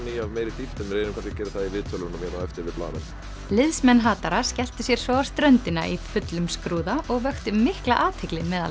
í af meiri dýpt en við reynum kannski að gera það í viðtölunum hérna á eftir við blaðamenn liðsmenn hatara skelltu sér svo á ströndina í fullum skrúða og vöktu mikla athygli meðal